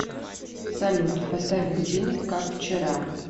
салют поставь будильник как вчера